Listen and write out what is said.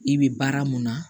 I bɛ baara mun na